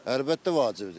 Əlbəttə vacibdir.